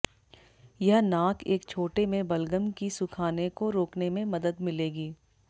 यह नाक एक छोटे में बलगम की सुखाने को रोकने में मदद मिलेगी